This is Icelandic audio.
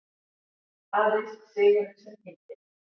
Aðeins sigurinn sem gildir.